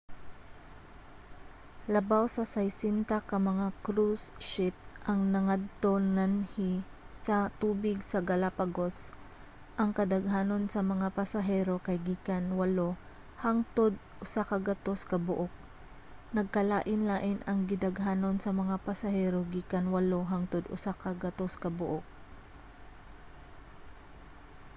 labaw sa 60 ka mga cruise ship ang nagngadto-nganhi sa mga tubig sa galapagos - ang kadaghanon sa mga pasahero kay gikan 8 hangtod 100 kabuok.nagkalain-lain ang gidaghanon sa mga pasahero gikan 8 hangtod 100 ka buok